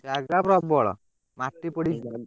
ଜାଗା ପ୍ରବଳ ମାଟି ପଡିଛି ତ।